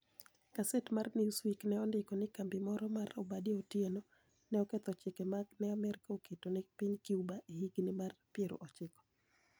Gaset mar ni ewsweek ni e onidiko nii kambi moro ma Obadia Otieno , ni e oketho chike ma ni e Amerka oketo ni e piniy Cuba e higinii mag piero ochiko.